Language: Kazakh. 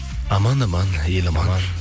аман аман ел аман